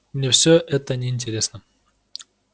мне все это неинтересно